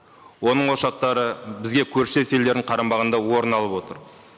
оның ошақтары бізге көршілес елдердің қарамағында орын алып отыр